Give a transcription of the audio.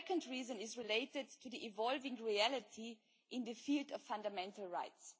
The second reason is related to the evolving reality in the field of fundamental rights.